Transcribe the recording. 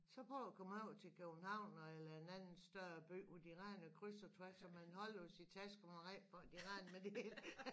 Så prøv at komme over til København eller en anden større by hvor de render krys og tværs og man holder jo sin taske for man er ræd for at de render med det hele